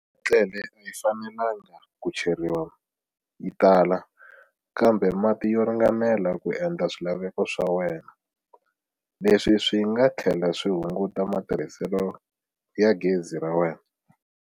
Ketlele a yi fanelangi ku cheriwa yi tala, kambe mati yo ringanela ku endla swilaveko swa wena. Leswi swi nga tlhela swi hunguta matirhiselo ya gezi ra wena.